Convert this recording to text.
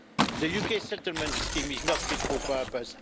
The UK settlement scheme is not fit for purpose.